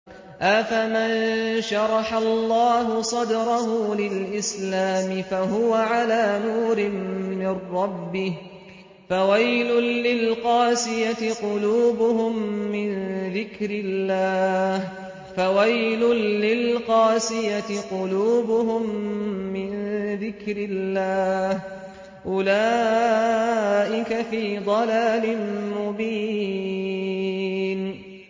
أَفَمَن شَرَحَ اللَّهُ صَدْرَهُ لِلْإِسْلَامِ فَهُوَ عَلَىٰ نُورٍ مِّن رَّبِّهِ ۚ فَوَيْلٌ لِّلْقَاسِيَةِ قُلُوبُهُم مِّن ذِكْرِ اللَّهِ ۚ أُولَٰئِكَ فِي ضَلَالٍ مُّبِينٍ